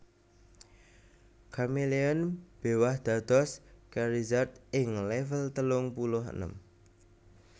Charmeleon béwah dados Charizard ing level telung puluh enem